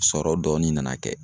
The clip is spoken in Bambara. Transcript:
Sɔrɔ dɔɔni nana kɛ